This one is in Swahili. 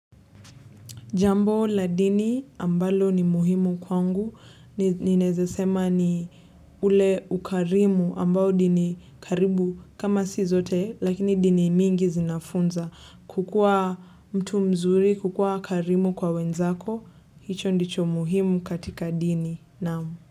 Jambo la dini ambalo ni muhimu kwangu, ni ninaeza sema ni ule ukarimu ambao dini karibu kama si zote, lakini dini mingi zinafunza. Kukua mtu mzuri, kukua karimu kwa wenzako, hicho ndicho muhimu katika dini naam.